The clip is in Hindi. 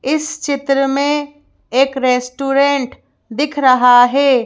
इस चित्र में एक रेस्टोरेंट दिख रहा है।